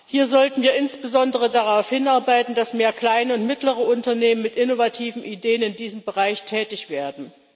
Hier sollten wir insbesondere darauf hinarbeiten, dass mehr kleine und mittlere Unternehmen mit innovativen Ideen in diesem Bereich tätig werden.